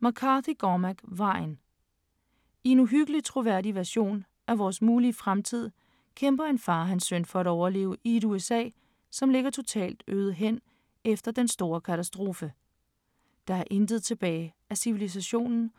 McCarthy, Cormac: Vejen I en uhyggelig troværdig vision af vores mulige fremtid kæmper en far og hans søn for at overleve i et USA, som ligger totalt øde hen efter "den store katastrofe". Der er intet tilbage af civilisationen,